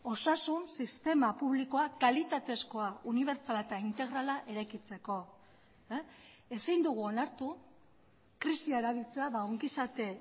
osasun sistema publikoa kalitatezkoa unibertsala eta integrala eraikitzeko ezin dugu onartu krisia erabiltzea ongizate